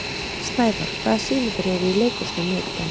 Snævarr, hvaða sýningar eru í leikhúsinu á miðvikudaginn?